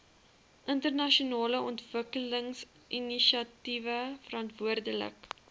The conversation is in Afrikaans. internasionale ontwikkelingsinisiatiewe verantwoordelik